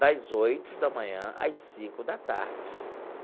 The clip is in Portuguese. das oito da manhã às cinco da tarde.